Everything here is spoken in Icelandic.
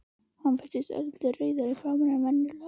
Hann virtist örlítið rauðari í framan en venjulega.